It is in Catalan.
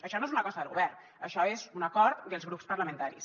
això no és una cosa del govern això és un acord dels grups parlamentaris